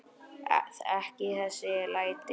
Ekki þessi læti.